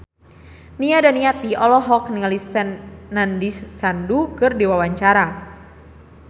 Nia Daniati olohok ningali Nandish Sandhu keur diwawancara